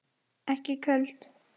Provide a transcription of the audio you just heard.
Ekki köld.